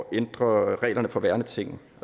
at ændre reglerne for værneting